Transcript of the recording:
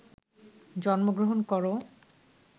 জন্মগ্রহণ কর